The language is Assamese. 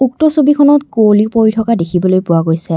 উক্ত ছবিখনত কুঁৱলী পৰি থকা দেখিবলৈ পোৱা গৈছে।